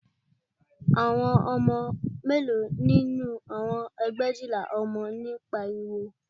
Àwọn ọmọ mélòó nínú àwọn ẹgbẹ̀éjìlá ọmọ ni ó ń pariwo